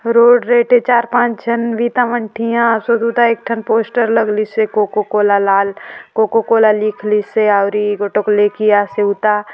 रोड रेटे चार पांच झन वीता मन ठीया सु ओ सुता एक ठन पोस्टर लगली से कोको कोला लाल कोको कोला लिख लीसे आवरी गोटोक लेके आसे उता --